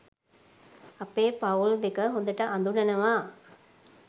අපේ පවුල් දෙක හොඳට අඳුනනවා.